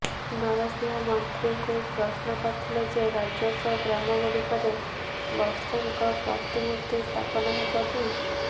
ନରସିଂହ ମନ୍ତ୍ରୀଙ୍କୁ ପ୍ରଶ୍ନ କରିଥିଲେ ଯେ ରାଜସ୍ବ ଗ୍ରାମ ଗୁଡିକରେ ଗଡସେଙ୍କ ପ୍ରତିମୂର୍ତ୍ତି ସ୍ଥାପନ ହେବ କି